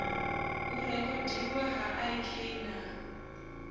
u rekhodiwa ha ik na